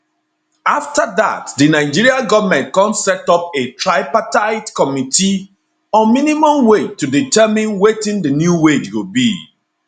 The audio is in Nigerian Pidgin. afta dat di nigeria goment come set up a tripartite committee on minimum wage to determine wetin di new wage go be